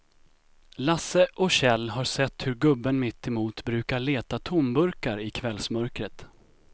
Lasse och Kjell har sett hur gubben mittemot brukar leta tomburkar i kvällsmörkret.